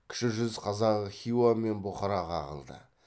кіші жүз қазағы хиуа мен бұхараға ағылды